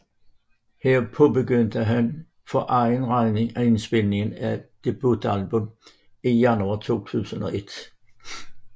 Her påbegyndte han for egen regning indspilningen af et debutalbum i januar 2001